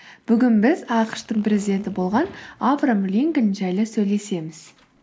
бүгін біз ақш тың президенті болған авраам линкольн жайлы сөйлесеміз